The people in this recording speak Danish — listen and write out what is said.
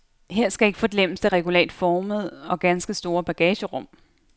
Her skal ikke forglemmes det regulært formede og ganske store bagagerum.